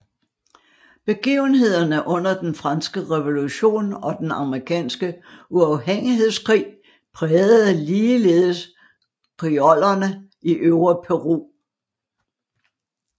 Begivenhederne under Den franske revolution og Den amerikanske uafhængighedskrig prægede ligeledes criolloerne i Øvre Peru